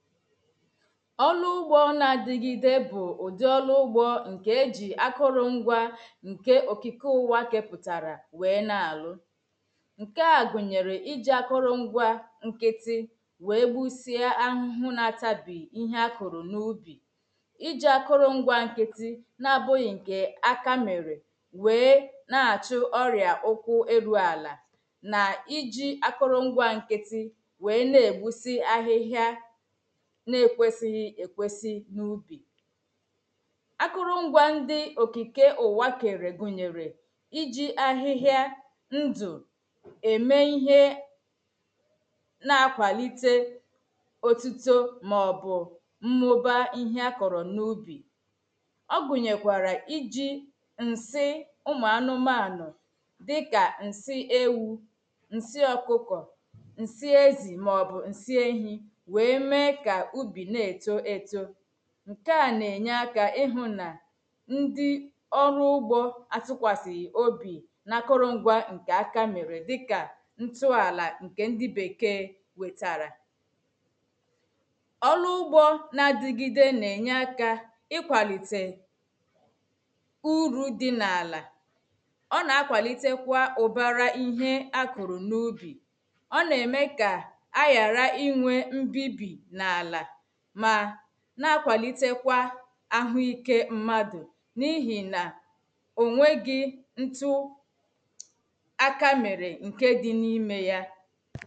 ọ̀rụ ugbò n’adìgide bụ̀ ụ̀dị òlụ ugbò ṅ̀ke èjì akọ̀rọ̀ṅgwȧ ṅ̀ke òkìkọ̀ ụ̀wà àkėpụ̀tàrà wèe nà-àhụ ṅ̀ke à gụ̀nyere ijì akọ̀rọ̀ṅgwȧ nkịtị wèe gbùsịa ahụ̇hụ̇ nà-àtabì ihe akụ̀rụ̀ n’ubì ijì akọ̀rọ̀ṅgwȧ nkịtị n’abụ̇ghị̇ ṅ̀ke àka mere wèe nà-àchụ ọrị̀a ụ̀kwụ̇ erù àlà nà ijì akọ̀rọ̀ṅgwȧ nkịtị wèe na-ègbusi àhịhịȧ na-ekwesighi ekwesi n’ubi akụrụ ngwa ndi okike ụwakere gụnyere iji ahịhịa ndụ eme ihe na-akwalite otuto maọbụ mmụba ihe akọrọ n’ubi ọ gụnyekwara iji nsị ụmụ anụmanụ dịka nsị ewu nsị ọkụkọ nsị ezi maọbụ nsị ehi ǹke à nà-ènye akà ịhụ̇ nà ndị ọrụ ugbȯ atụkwasị̀ obi̇ nà akụrụ̇ngwȧ ǹkè akȧ mèrè dịkà ǹtụ̇ àlà ǹkè ndị bèkee wètàrà ọlụ ugbȯ nà-adịgide nà-ènye akà ịkwàlite ùrù dị n’àlà ọ nà-akwàlite kwà ụ̀bàrà ihe akụ̀rụ̀ n’ubi̇ ma n’akwàlite kwà ahùike mmadù n’ihi na ònwegi ntụ̀ aka mere nke di n’ime ya